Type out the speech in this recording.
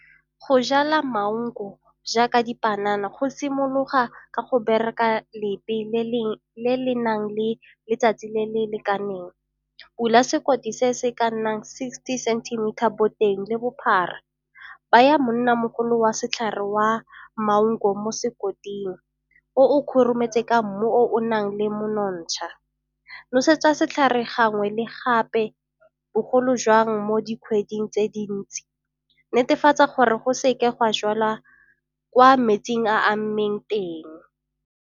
Go jala mango jaaka dipanana go simologa ka go bereka le le nang le letsatsi le le lekaneng. Bula sekoti se se ka nnang sixty centimeter boteng le bophara. Baya monnamogolo wa setlhare wa mango mo sekoting o o khurumetsa ka mmu o o nang le monontsha. Nosetsa setlhare gangwe le gape bogolo jang mo dikgweding tse dintsi. Netefatsa gore go seke ga jwala kwa metseng a amileng teng.